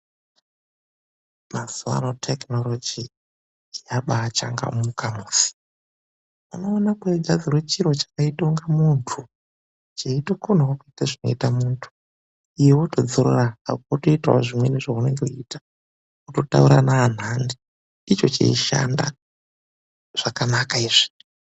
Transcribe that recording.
Mazuwa ano tekinoroji yabaachangamuka musi. Unoona kweigadzirwa chiro chakaito ngamunthu, cheitokonawo kuita zvinoita munthu. Iwe wotodzorora hako, wotoitawo zvimweni zveunenge weiita. Wototaura neanthani, icho cheishanda. Zvakanaka izvi.